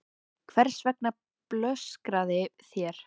Hvers vegna blöskraði þér?